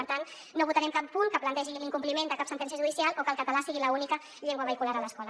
per tant no votarem cap punt que plantegi l’incompliment de cap sentència judicial o que el català sigui l’única llengua vehicular a l’escola